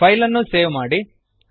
file ಅನ್ನು save ಮಾಡಿ